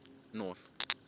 north